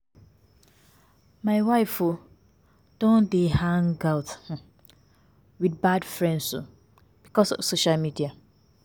My wife um don dey hang um out with bad friends um because of social media